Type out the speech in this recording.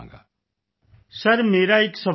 Amlan sir ਮੇਰਾ ਇੱਕ ਸਵਾਲ ਹੈ ਸਰ